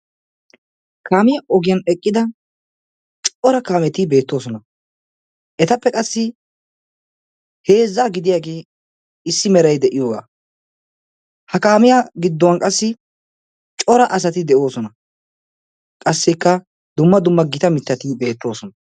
Kaamiyaa ogiyan eqqida cora kaametti beettoosona. Etappe qassi heezza gidiyage issi meray de'iyoga. Ha kaamiyaa giddon qassi cora asati deosona. Qassikka dumma dumma Gita mittatti beettoosona.